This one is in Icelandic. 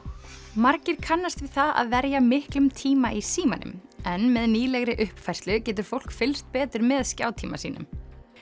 margir kannast við það að verja miklum tíma í símanum en með nýlegri uppfærslu getur fólk fylgst betur með skjátíma sínum